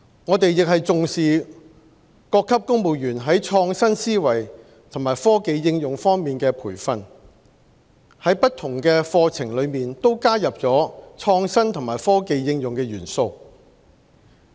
我們也重視各級公務員在創新思維和科技應用方面的培訓，在不同課程都加入了創新和科技應用的元素。